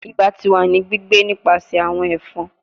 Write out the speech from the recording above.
Iba ti wa ni gbigbe nipasẹ awọn ẹfọn